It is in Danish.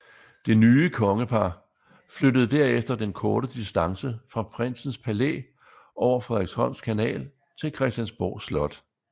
Det nye kongepar flyttede derefter den korte distance fra Prinsens Palæ over Frederiksholms Kanal til Christiansborg Slot